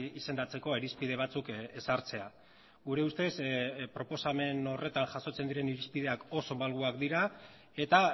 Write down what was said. izendatzeko irizpide batzuk ezartzea gure ustez proposamen horretan jasotzen diren irizpideak oso malguak dira eta